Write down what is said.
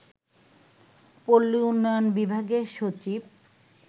পল্লী উন্নয়ন বিভাগের সচিব